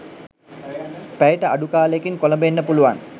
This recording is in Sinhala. පැයට අඩු කාලයකින් කොළඹ එන්න පුළුවන්.